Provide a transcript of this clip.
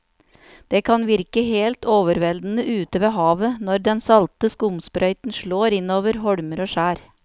Det kan virke helt overveldende ute ved havet når den salte skumsprøyten slår innover holmer og skjær.